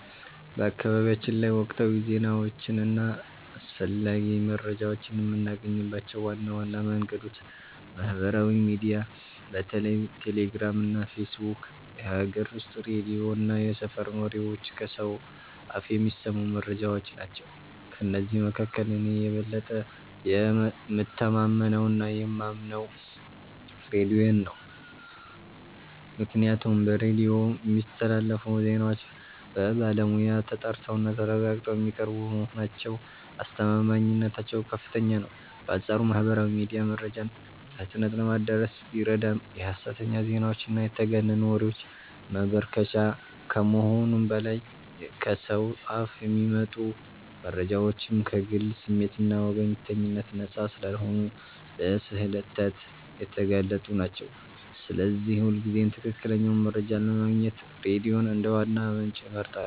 በአካባቢያችን ላይ ወቅታዊ ዜናዎችን እና አስፈላጊ መረጃዎችን የምናገኝባቸው ዋና ዋና መንገዶች ማህበራዊ ሚዲያ (በተለይ ቴሌግራም እና ፌስቡክ)፣ የሀገር ውስጥ ሬዲዮ እና የሰፈር ወሬዎች (ከሰው አፍ የሚሰሙ መረጃዎች) ናቸው። ከእነዚህ መካከል እኔ የበለጠ የምተማመነውና የማምነው ሬዲዮን ነው፤ ምክንያቱም በሬዲዮ የሚስተላለፉ ዜናዎች በባለሙያ ተጣርተውና ተረጋግጠው የሚቀርቡ በመሆናቸው አስተማማኝነታቸው ከፍተኛ ነው። በአንጻሩ ማህበራዊ ሚዲያ መረጃን በፍጥነት ለማድረስ ቢረዳም የሐሰተኛ ዜናዎችና የተጋነኑ ወሬዎች መበራከቻ ከመሆኑም በላይ፣ ከሰው አፍ የሚመጡ መረጃዎችም ከግል ስሜትና ወገንተኝነት ነፃ ስላልሆኑ ለስህተት የተጋለጡ ናቸው፤ ስለዚህ ሁልጊዜም ትክክለኛውን መረጃ ለማግኘት ሬዲዮን እንደ ዋና ምንጭ እመርጣለሁ።